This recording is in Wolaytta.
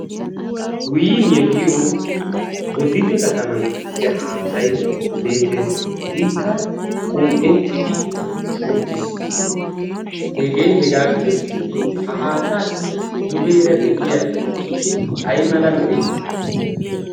win yeggiyo bodite kataman giigiya haattay beettees ikka qom'ettidi uttiis hegee hegaa gidoshin ha haattaassi dugeera de'iya ixxigee ay mala meree?